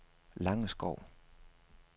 Langeskov